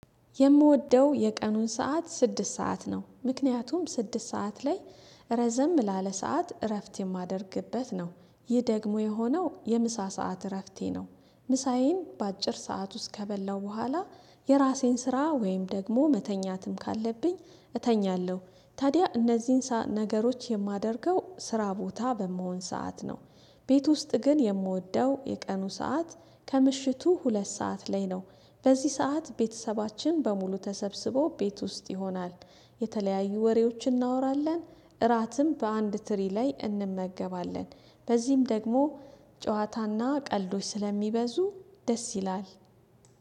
የምወደው የቀኑን ሰዓት ስድስት ሰዓት ነው ምክንያቱም ስድስት ሰዓት ላይ ረዘም ላለ ሰዓት እረፍት የማደርግበት ነው። ይህ ደግሞ የሆነው የምሳ ሰዓት እረፍቴ ነው። ምሳዬን በአጭር ሰዓት ውስጥ ከበላሁ በኋላ የራሴን ስራ ወይም ደግሞ መተኛትም ካለብኝ እተኛለሁ። ታዲያ እነዚህን ነገሮች የማደርገው ስራ ቦታ በምሆን ሰዓት ነው። ቤት ውስጥ ግን የምወደው የቀኑ ሰዓት ከምሽቱ ሁለት ሰዓት ላይ ነው። በዚህ ሰዓት ቤተሰባችን በሙሉ ተሰብስቦ ቤት ውስጥ ይሆናል። የተለያዩ ወሬዎችን እናወራለን። እራትም በአንድ ትሪ ላይ እንመገባለን። በዚህም ደግሞ ጨዋታና ቀልዶች ስለሚበዙ ደስ ይላል።